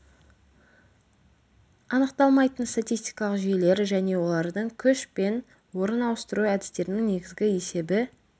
анықталмайтын статистикалық жүйелер және олардың күш пен орын ауыстыру әдістерінің негізгі есебі